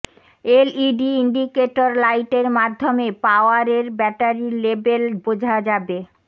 LED indicator লাইটের মাধ্যমে power এর ব্যাটারির লেবেল বোঝা যাবে